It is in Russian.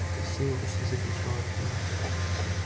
красиво почти закричал артём